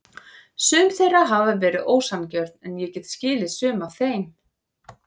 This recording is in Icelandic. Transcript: Sum þeirra hafa verið ósanngjörn en ég get skilið sum af þeim.